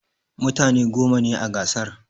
mutane goma ne a gasar